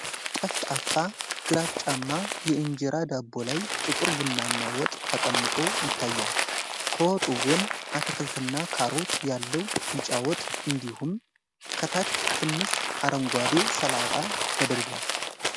ጠፍጣፋ ግራጫማ የእንጀራ ዳቦ ላይ ጥቁር ቡናማ ወጥ ተቀምጦ ይታያል። ከወጡ ጎን አትክልትና ካሮት ያለው ቢጫ ወጥ እንዲሁም ከታች ትንሽ አረንጓዴ ሰላጣ ተደርድረዋል።